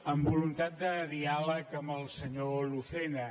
amb voluntat de diàleg amb el senyor lucena